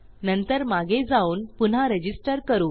नंतर मागे जाऊन पुन्हा रजिस्टर करू